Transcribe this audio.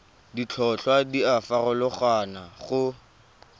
ditlhotlhwa di a farologana go